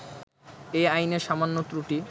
এই আইনের সামান্য ত্রুটি